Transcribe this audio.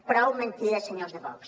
prou mentides senyors de vox